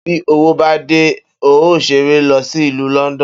Bí owó bá dé, n óò s̩eré lo̩ sí ìlú Ló̩ndò̩n